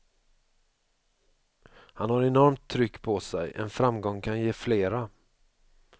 Han har enormt tryck på sig, en framgång kan ge flera.